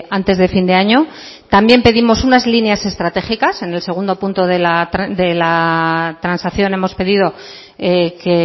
antes de fin de año también pedimos unas líneas estratégicas en el segundo punto de la transacción hemos pedido que